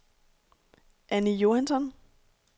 Anny Johansson